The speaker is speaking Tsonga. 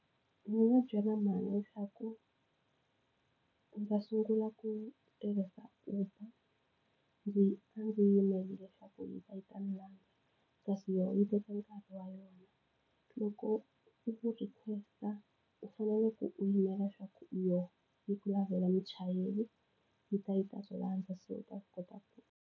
Ndzi nga byela mhani leswaku ndzi ta sungula ku tirhisa Uber ndzi a ndzi yimele leswaku yi ta yi ta ni landza, kasi yi teka nkarhi wa yona. Loko u request-a u fanele u yimela leswaku u yona yi ku lavela muchayeri, yi ta yi ta ku landza se u ta kota ku.